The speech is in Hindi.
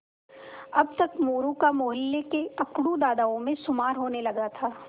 अब तक मोरू का मौहल्ले के अकड़ू दादाओं में शुमार होने लगा था